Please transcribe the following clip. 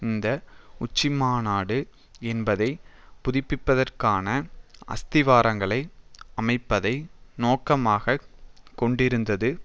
இந்த உச்சிமாநாடு என்பதை புதுப்பிப்பதற்கான அஸ்திவாரங்களை அமைப்பதை நோக்கமாக கொண்டிருந்தது